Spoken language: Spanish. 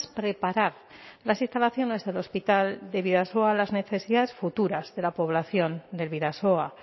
preparar las instalaciones del hospital de bidasoa a las necesidades futuras de la población del bidasoa